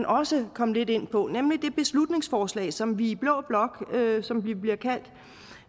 også kom lidt ind på nemlig det beslutningsforslag som vi i blå blok som vi bliver kaldt